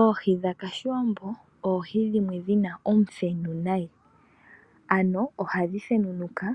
Oohi dhakashiwambo oohi dhimwe dhina omuthenu nayi ano ohadhi thenunuka